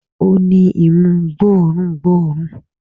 Ó ni imú gbó òórùn gbóòórùn